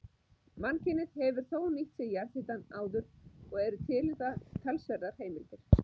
Mannkynið hefur þó nýtt sér jarðhitann áður, og eru til um það talsverðar heimildir.